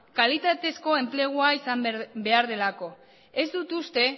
kalitatezko enplegua izan behar delako ez dut uste